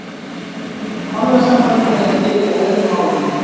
Orðasambandið er til í öðrum málum.